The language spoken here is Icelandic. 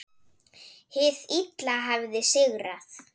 Hið illa hafði sigrað.